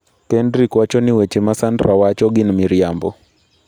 Kendric wacho ni weche ma Sandra wacho gin miriambo.